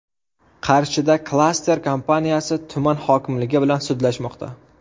Qarshida klaster kompaniyasi tuman hokimligi bilan sudlashmoqda.